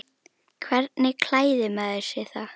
Hvernig klæðir maður sig þá?